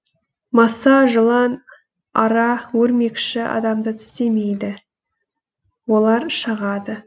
маса жылан ара өрмекші адамды тістемейді олар шағады